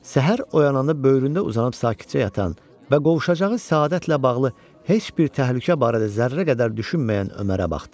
Səhər oyananda böyründə uzanıb sakitcə yatan və qovuşacağı səadətlə bağlı heç bir təhlükə barədə zərrə qədər düşünməyən Ömərə baxdı.